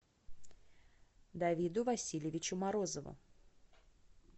давиду васильевичу морозову